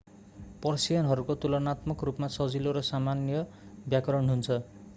पर्सियनहरूको तुलानात्मक रूपमा सजिलो र सामान्य व्याकरण हुन्छ